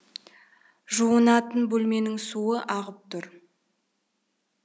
жуынатын бөлменің суы ағып тұр екен